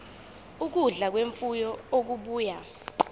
ukudla kwemfuyo okubuya